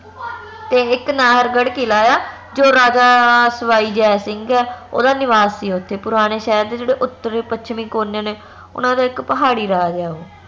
ਤੇ ਇਕ ਨਾਹਰਗੜ੍ਹ ਕਿਲਾ ਆ ਜੋ ਰਾਜਾ ਸਵਾਈ ਜੈ ਸਿੰਘ ਆ ਓਹਦਾ ਨਿਵਾਸ ਸੀ ਓਥੇ ਪੁਰਾਣੇ ਸ਼ਹਿਰ ਦੇ ਜੇਹੜੇ ਉਤਰੀ ਪੱਛਮੀ ਕੋਨੇ ਨੇ ਓਹਨਾ ਦਾ ਇਕ ਪਹਾੜੀ ਰਾਜ ਹੈ ਓ